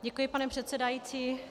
Děkuji, pane předsedající.